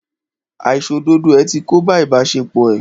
Àìṣòdodo ẹ̀ ti kóbá ìbáṣepọ̀ ẹ́.